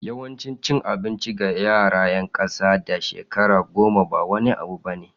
Yawan cin abinci ga yara 'yan kasa da shekara goma ba wani abu bane.